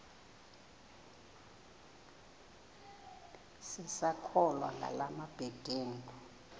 sisakholwa ngala mabedengu